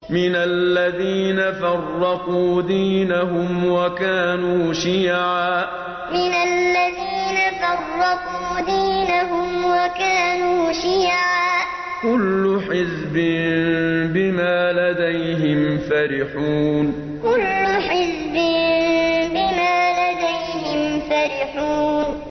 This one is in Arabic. مِنَ الَّذِينَ فَرَّقُوا دِينَهُمْ وَكَانُوا شِيَعًا ۖ كُلُّ حِزْبٍ بِمَا لَدَيْهِمْ فَرِحُونَ مِنَ الَّذِينَ فَرَّقُوا دِينَهُمْ وَكَانُوا شِيَعًا ۖ كُلُّ حِزْبٍ بِمَا لَدَيْهِمْ فَرِحُونَ